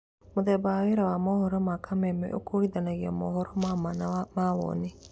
Mũthemba wa wĩra wa mohoro ma Kameme ũkũrithanagia mohoro ma maa na mawoni